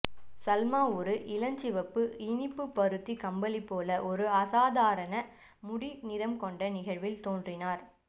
சல்மா ஒரு இளஞ்சிவப்பு இனிப்பு பருத்தி கம்பளி போல ஒரு அசாதாரண முடி நிறம் கொண்ட நிகழ்வில் தோன்றினார்